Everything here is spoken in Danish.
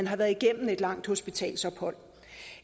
har været gennem et langt hospitalsophold